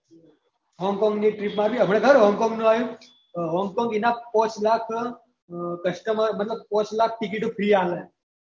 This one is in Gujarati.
હોંગ કોંગ ની trip માર્યીયે હમણાં ખબર હોંગ કોંગ નું હું આયુ આહ હોંગ કોંગ એના પાંચ લાખ customer મતલબ પાંચ લાખ ટીકીટ ફ્રી આલે